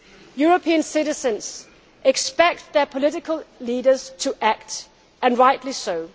European citizens expect their political leaders to act, and rightly